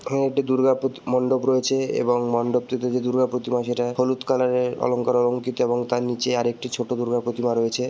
এখানে একটি দুর্গা প্রতি-- মণ্ডপ রয়েছে এবং মন্ডপটিতে যে দুর্গা প্রতিমা সেটা হলুদ কালারের অলংকারে অলংকৃত এবং তার নিচে আরেকটি ছোট দুর্গা প্রতিমা রয়েছে--